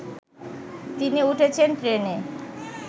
তিনি উঠেছেন ট্রেনে